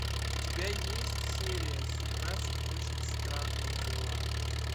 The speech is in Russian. у тебя есть серия семнадцать очень странные дела